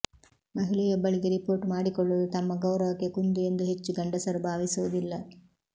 ಮಹಿಳೆಯೊಬ್ಬಳಿಗೆ report ಮಾಡಿಕೊಳ್ಳುವುದು ತಮ್ಮ ಗೌರವಕ್ಕೆ ಕುಂದು ಎಂದು ಹೆಚ್ಚು ಗಂಡಸರು ಭಾವಿಸುವುದಿಲ್ಲ